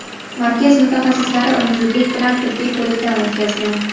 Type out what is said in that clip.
Markaz mutaxassislari uni zudlik bilan tibbiy ko‘rikdan o‘tkazgan.